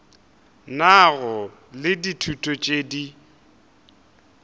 nago le ditulo tše di